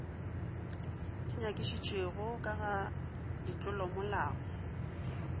di nyakišišitšwego ka ga ditlolomolao